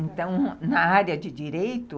Então, na área de direito,